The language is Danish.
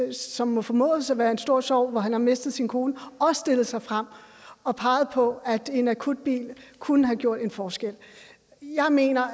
det som må formodes at være en stor sorg hvor han har mistet sin kone også stillet sig frem og peget på at en akutbil kunne have gjort en forskel jeg mener